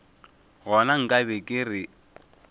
gona nka be ke re